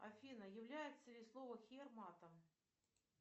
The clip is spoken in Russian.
афина является ли слово хер матом